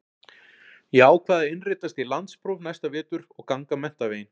Ég ákvað að innritast í landspróf næsta vetur og ganga menntaveginn.